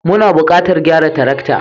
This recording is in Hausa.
Muna buƙatar gyara tarakta.